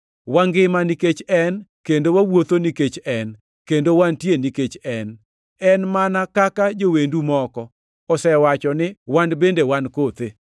‘Wangima nikech En, kendo wawuotho nikech En, kendo wantie nikech En.’ En mana kaka jowendu moko osewacho ni, ‘Wan bende wan kothe.’